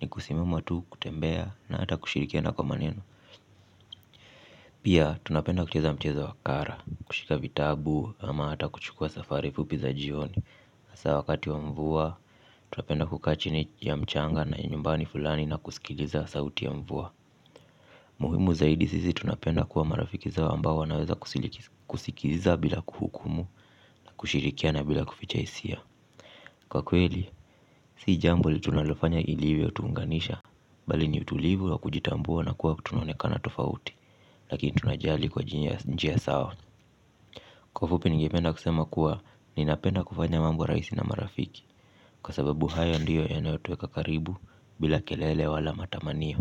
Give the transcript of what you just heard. ni kusimama tu kutembea na hata kushirikiana kwa maneno. Pia tunapenda kucheza mchezo wa kara, kushika vitabu ama hata kuchukua safari fupi za jioni hasa wakati wa mvua, tunapenda kukaa chini ya mchanga na nyumbani fulani na kusikiliza sauti ya mvua. Muhimu zaidi sisi tunapenda kuwa marafiki zao ambao wanaweza kusikiliza bila kuhukumu na kushirikiana bila kuficha hisia. Kwa kweli, si jambo tunalofanya iliyotuunganisha bali ni utulivu wa kujitambua na kuwa kutunaonekana tofauti lakini tunajali kwa njia sawa kwa ufupi ningependa kusema kuwa ninapenda kufanya mambo rahisi na marafiki kwa sababu haya ndiyo yanayotuweka karibu bila kelele wala matamanio.